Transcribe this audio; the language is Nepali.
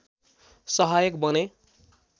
सहायक बने